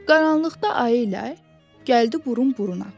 Qaranlıqda ayı ilə gəldi burun-buruna.